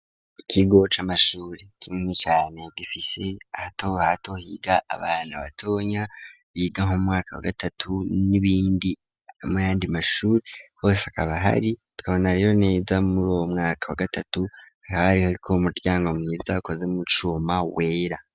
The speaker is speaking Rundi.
Ikigo c'amashure kinini cane gifise ahato ahato higa abantu abatonya biga mumwaka wa gatatu n'ibindi hama ayandi mashure hose hakaba ahari, tukabona rero neza muri uwo mwaka wa gatatu hariko umuryango mwiza ukoze mucuma wera.